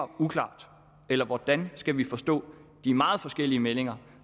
uklart eller hvordan skal vi forstå de meget forskellige meldinger